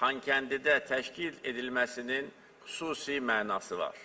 Xankəndidə təşkil edilməsinin xüsusi mənası var.